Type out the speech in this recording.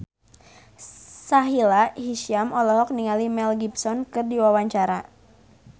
Sahila Hisyam olohok ningali Mel Gibson keur diwawancara